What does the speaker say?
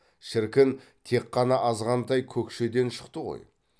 шіркін тек қана азғантай көкшеден шықты ғой